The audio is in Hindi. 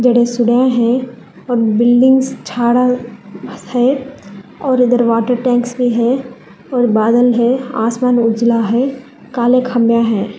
है और बिल्डिंग है और उधर वॉटर टैंक्स भी है और बादल है आसमान उजाला है काले खंभा है।